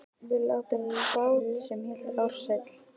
Við áttum bát sem hét Ársæll.